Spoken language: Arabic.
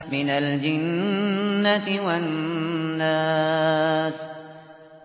مِنَ الْجِنَّةِ وَالنَّاسِ